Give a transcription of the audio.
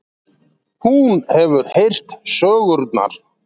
Hún hefur heyrt sögurnar.